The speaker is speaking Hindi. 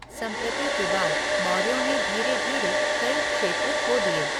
संप्रति के बाद, मौर्यों ने धीरे धीरे कई क्षेत्र खो दिए।